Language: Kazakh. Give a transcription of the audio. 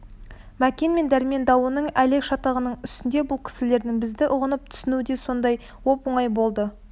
мәкен мен дәрмен дауының әлек шатағының үстінде бұл кісілердің бізді ұғынып түсінуі де сондай оп-оңай болды